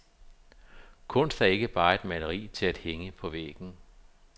Kunst er ikke bare et maleri til at hænge på væggen.